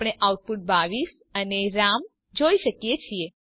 આપણે આઉટપુટ 22 અને રામ જોઈ શકીએ છીએ